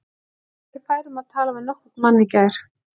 Ég var ekki fær um að tala við nokkurn mann í gær.